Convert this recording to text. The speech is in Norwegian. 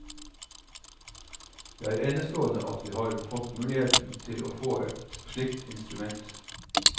Det er enestående at vi har fått muligheter til å få et slikt instrument.